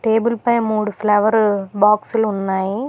Table పై మూడు flower బాక్సులు ఉన్నాయి.